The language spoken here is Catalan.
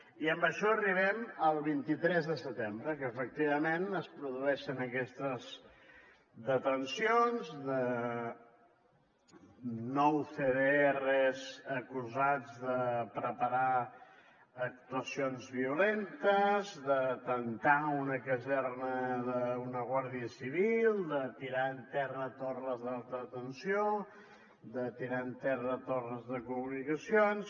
i amb això arribem al vint tres de setembre que efectivament es produeixen aquestes detencions de nou cdrs acusats de preparar actuacions violentes d’atemptar en una caserna d’una guàrdia civil de tirar a terra torres d’alta tensió de tirar a terra torres de comunicacions